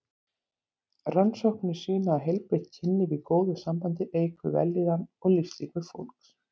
Rannsóknir sýna að heilbrigt kynlíf í góðu sambandi eykur vellíðan og lífslíkur fólks.